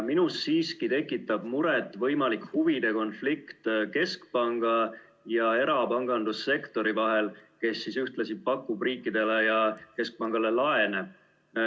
Minus siiski tekitab muret võimalik huvide konflikt keskpanga ja erapangandussektori vahel, kes ühtlasi pakub riikidele ja keskpangale laene.